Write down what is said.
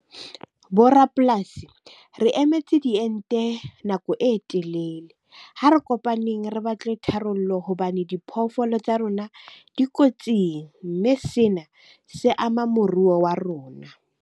Bo rapolasi, re emetse diente nako e telele. Ha re kopaneng re batle tharollo hobane diphoofolo tsa rona di kotsing. Mme sena se ama moruo wa rona.